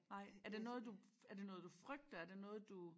Nej er det noget du er det noget frygter er det noget du